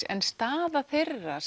en staða þeirra